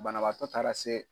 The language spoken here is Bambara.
Banabaatɔ taara se.